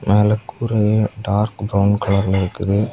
மேல கூரையே dark brown கலர்ல இருக்குது.